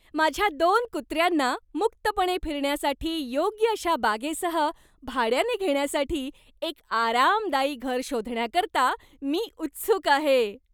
माझ्या दोन कुत्र्यांना मुक्तपणे फिरण्यासाठी योग्य अशा बागेसह भाड्याने घेण्यासाठी एक आरामदायी घर शोधण्याकरता मी उत्सुक आहे.